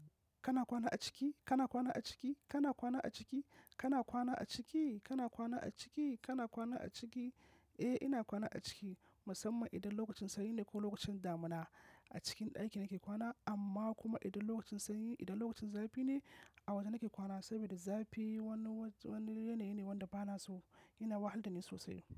Kana kwana a ciki? Kana kwana a ciki? Kana kwana a ciki? Kana kwana a ciki? Kana kwana a ciki? Kana kwana a ciki? Eh, ina kwana a ciki musamman idan lokacin sanyi ne ko lokacin damuna a cikin ɗaki nake kwana, amma kuma idan lokacin sanyi, idan lokacin zafi ne a waje nake kwana saboda zafi wani, wani yanayi ne wanda bana so. Yana wahalar da ni sosai.